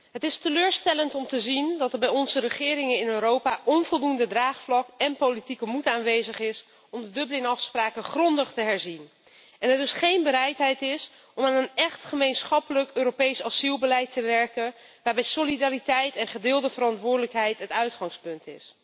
Het is teleurstellend om te zien dat er bij onze regeringen in Europa onvoldoende draagvlak en politieke moed aanwezig is om de Dublinafspraken grondig te herzien en er dus geen bereidheid is om aan een echt gemeenschappelijk Europees asielbeleid te werken met solidariteit en gedeelde verantwoordelijkheid als uitgangspunt.